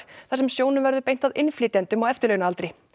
þar sem sjónum verður beint að innflytjendum á eftirlaunaaldri